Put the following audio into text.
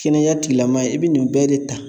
Kɛnɛya tigilamɔgɔ ye i bɛ nin bɛɛ de ta